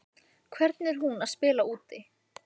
Hvernig er hún að spila úti?